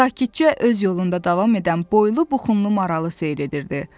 sakitcə öz yolunda davam edən boylu-buxunlu maralı seyr edirdi.